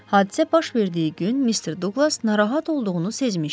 Hadisə baş verdiyi gün Mr. Douqlas narahat olduğunu sezmişdi.